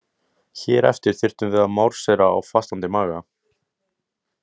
Hér eftir þyrftum við að marséra á fastandi maga.